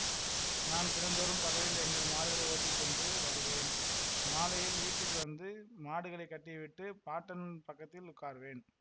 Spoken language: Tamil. நான் தினந்தோறும் பகலில் எங்கள் மாடுகளை ஓட்டிச்சென்று வருவேன் மாலையில் வீட்டுக்கு வந்து மாடுகளைக் கட்டிவிட்டுப் பாட்டன் பக்கத்தில் உட்காருவேன்